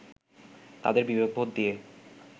তাদের বিবেকবোধ দিয়ে